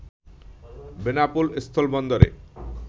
Benapole স্থলবন্দরে